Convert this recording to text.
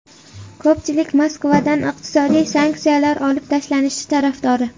Ko‘pchilik Moskvadan iqtisodiy sanksiyalar olib tashlanishi tarafdori.